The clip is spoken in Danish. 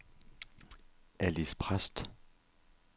Alis Præst